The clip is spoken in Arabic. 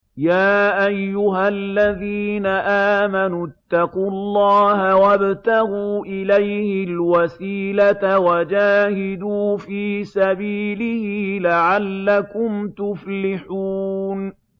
يَا أَيُّهَا الَّذِينَ آمَنُوا اتَّقُوا اللَّهَ وَابْتَغُوا إِلَيْهِ الْوَسِيلَةَ وَجَاهِدُوا فِي سَبِيلِهِ لَعَلَّكُمْ تُفْلِحُونَ